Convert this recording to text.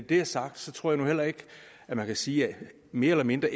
det er sagt tror jeg nu heller ikke man kan sige at mere eller mindre